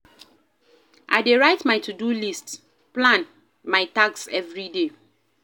I dey write my to-do list, plan my tasks everyday.